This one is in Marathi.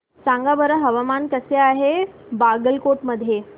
सांगा बरं हवामान कसे आहे बागलकोट मध्ये